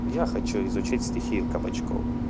я хочу изучать стихию кабачков